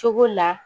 Cogo la